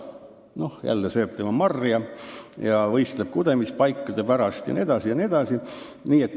Mudil, jällegi, sööb tema marja ja võistleb kudemispaikade pärast jne.